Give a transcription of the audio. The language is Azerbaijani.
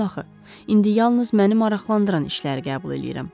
Dedim axı, indi yalnız məni maraqlandıran işləri qəbul eləyirəm.